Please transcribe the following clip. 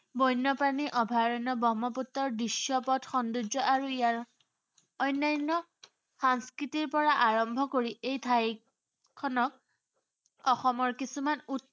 বণ্য়প্ৰাণীৰ অভয়াৰণ্য়, ব্ৰহ্মপুত্ৰৰ দৃশ্য়পট, সৌন্দৰ্য আৰু ইয়াৰ অন্য়ান্য় সাংস্কৃতিৰ পৰা আৰম্ভ কৰি এই ঠাইখনক, অসমৰ কিছুমান